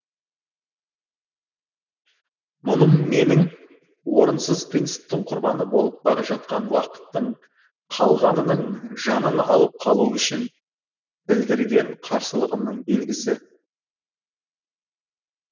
мұным менің орынсыз принциптің құрбаны болып бара жатқан уақыттың қалғанының жанын алып қалу үшін білдірген қарсылығымның белгісі